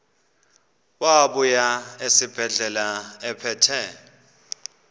wabuya esibedlela ephethe